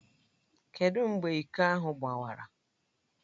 Kedụ mgbe iko ahụ gbawara?